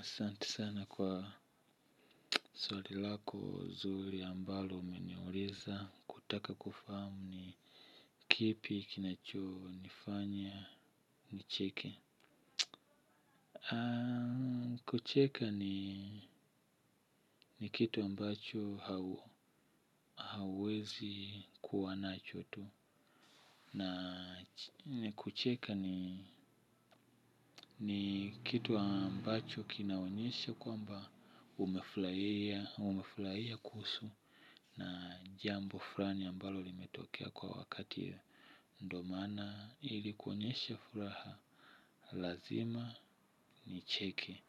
Asanti sana kwa swali lako zuri ambalo umeniuliza kutaka kufahamu ni kipi kinacho nifanya nicheke. Kucheka ni kitu ambacho hauezi kuwa nacho tu. Na kucheka ni kitu ambacho kinaonyesha kwamba umefulaiya kuhusu na jambo flani ambalo limetokea kwa wakati ndo maana ilikuonyesha furaha lazima nicheke.